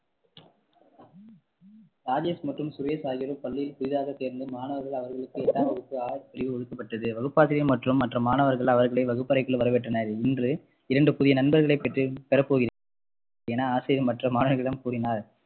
ராஜேஷ் மற்றும் சுரேஷ் ஆகியோர் பள்ளியில் புதிதாக சேர்ந்த மாணவர்கள் அவர்களுக்கு எட்டாம் வகுப்பு ஆ பிரிவு ஒதுக்கப்பட்டது வகுப்பாசிரியர் மற்றும் மற்ற மாணவர்கள் அவர்களை வகுப்பறைக்குள் வரவேற்றனர் இன்று இரண்டு புதிய நண்பர்களை பெற்றேன் பெறப்போகிறேன் என ஆசிரியர் மற்ற மாணவர்களிடம் கூறினார்